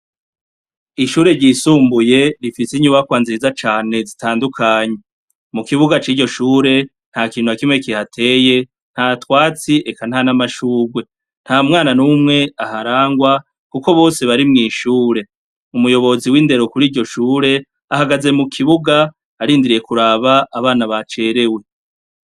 Ishure ry'isumbuye rifise inyubakwa nziza cane zitandukanye, mukibuga ciryo shure, ntakintu nakimwe kihateye ntatwatsi eka ntanamashugwe, ntamwana numwe aharangwa kuko bose bari mwishure umuyobozi w'indero kuriryo shure ahagaze mukibuga arindiriye kuraba abana bacerewe.